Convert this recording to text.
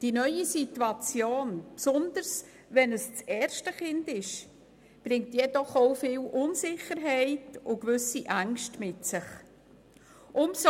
Die neue Situation, ganz besonders, wenn es sich um das erste Kind handelt, bringt jedoch auch viel Unsicherheit und gewisse Ängste mit sich.